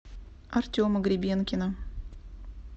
артема гребенкина